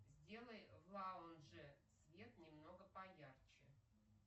сделай в лаунже свет немного поярче